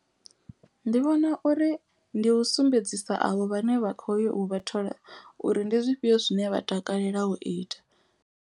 Ndi vhona uri ndi u sumbedzisa avho vhane vha kho yo u vha thola uri ndi zwifhio zwine vha takalela u ita.